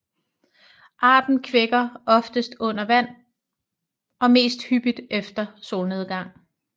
Arten kvækker oftest under vand og mest hyppigt efter solnedgang